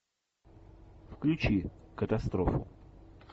включи катастрофу